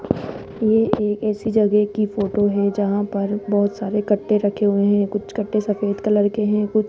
ये एक ऐसी जगह की फोटो है जहां पर बहोत सारे कट्टे रखे हुए हैं कुछ कट्टे सफेद कलर के हैं कु --